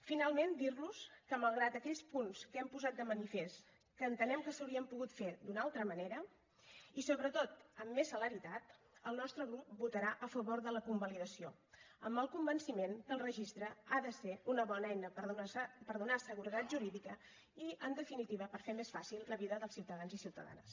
finalment dir los que malgrat aquells punts que hem posat de manifest que entenem que s’haurien pogut fer d’una altra manera i sobretot amb més celeritat el nostre grup votarà a favor de la convalidació amb el convenciment que el registre ha de ser una bona eina per donar seguretat jurídica i en definitiva per fer més fàcil la vida dels ciutadans i ciutadanes